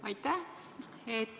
Aitäh!